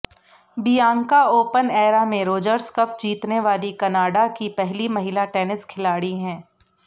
Bianca open era में Rogers cup जीतने वाली कनाडा की पहली महिला टेनिस खिलाड़ी हैं